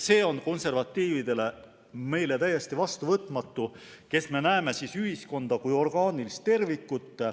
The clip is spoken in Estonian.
See on meile, konservatiividele täiesti vastuvõetamatu, meile, kes me näeme ühiskonda kui orgaanilist tervikut.